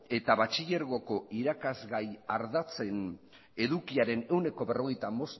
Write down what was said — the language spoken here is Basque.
eta batxilergoko irakasgai ardatzen edukiaren ehuneko berrogeita